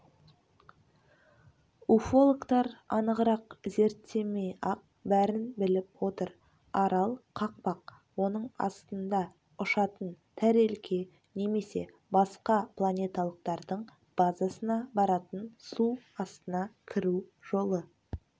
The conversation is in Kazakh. уфологтар анығырақ зерттемей-ақ бәрін біліп отыр арал қақпақ оның астында ұшатын тәрелке немесе басқа планеталықтардың базасына баратын су астына кіру жолы